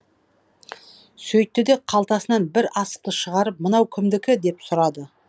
сөйтті де қалтасынан бір асықты шығарып мынау кімдікі деп сұрады